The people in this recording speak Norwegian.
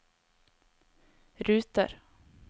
ruter